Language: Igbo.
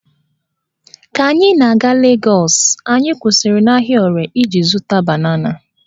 Ka anyị na-aga Legọs, anyị kwụsịrị n'ahịa Ore iji zụta banana